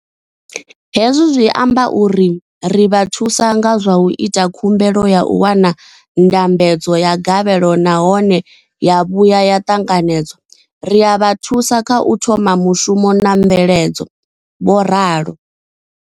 Hezwi zwi amba uri ri vha thusa nga zwa u ita khumbelo ya u wana ndambedzo ya gavhelo nahone ya vhuya ya ṱanganedzwa, ri a vha thusa kha u thoma mushumo na mveledzo, vho ralo.